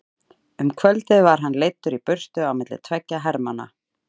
Um kvöldið var hann leiddur í burtu á milli tveggja hermanna.